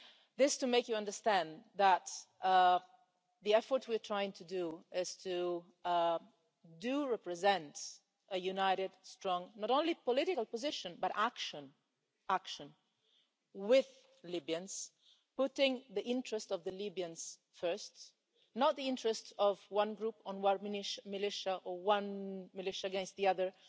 This is to make you understand that the effort we are trying to do is to represent a united, strong not only political position, but action action, with Libyans, putting the interest of the Libyans first, not the interests of one group, or one militia or one militia against the other,